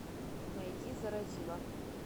найди заразила